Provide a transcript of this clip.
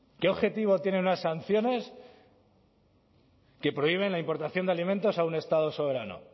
qué objetivo tienen unas sanciones que prohíben la importación de alimentos a un estado soberano